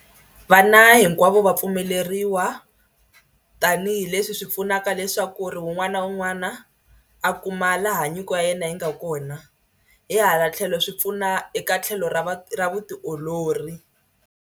Vana hinkwavo va pfumeleriwa tanihileswi swi pfunaka leswaku ri un'wana na un'wana a kuma laha nyiko ya yena yi nga kona hi hala tlhelo swi pfuna eka tlhelo ra va ra vutiolori.